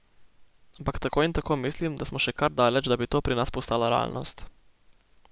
Ampak tako in tako mislim, da smo še kar daleč, da bi to pri nas postala realnost.